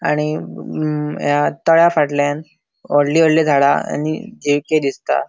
आणि म या तळ्या फाटल्यान वडली वडली झाड़ा आणि दिसता.